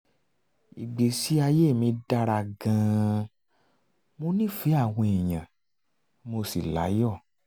ìgbésí ayé mi dára gan-an mo nífẹ̀ẹ́ àwọn èèyàn mo sì láyọ̀